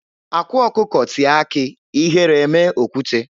Akwa ọkụkọ tie akị ihere emee okwute.